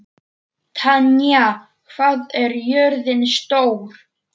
Tanya, hvað er jörðin stór?